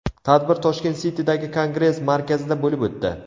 Tadbir Tashkent City’dagi Kongress markazida bo‘lib o‘tdi.